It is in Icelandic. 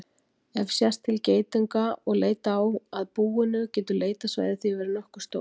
Ef sést til geitunga og leita á að búinu getur leitarsvæðið því verið nokkuð stórt.